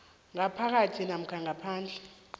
ngaphakathi namkha ngaphandle